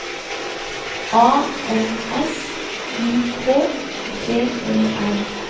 A N S I K T E R